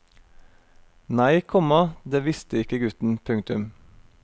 Nei, komma det visste ikke gutten. punktum